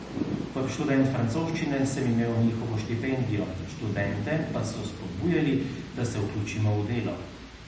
Kot študent francoščine sem imel njihovo štipendijo, študente pa so spodbujali, da se vključimo v delo.